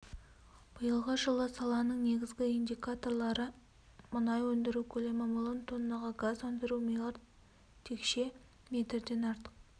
биылғы жылы саланың негізгі индикаторлары мұнай өндіру көлемі миллион тоннаға газ өндіру миллиард текше метрден артық